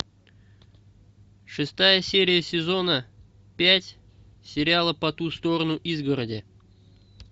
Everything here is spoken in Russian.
шестая серия сезона пять сериала по ту сторону изгороди